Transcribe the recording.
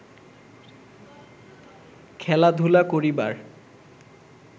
খেলাধুলা করিবার